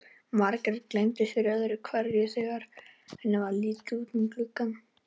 Margrét gleymdi sér öðru hverju þegar henni varð litið út um gluggann.